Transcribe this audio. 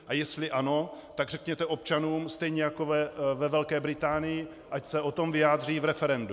A jestli ano, tak řekněte občanům stejně jako ve Velké Británii, ať se o tom vyjádří v referendu.